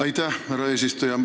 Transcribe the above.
Aitäh, härra eesistuja!